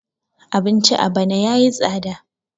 abinci a bana ya yi tsada